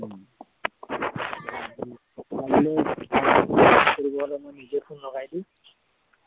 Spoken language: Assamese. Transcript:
কৰিবৰ time ত নিজে phone লগাই দিও